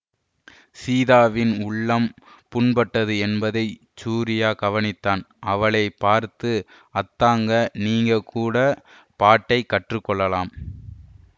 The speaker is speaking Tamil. சீதாவின் உள்ளம் புண்பட்டது என்பதை சூரியா கவனித்தான் அவளை பார்த்து அத்தங்கா நீ கூட பாட்டை கற்று கொள்ளலாம்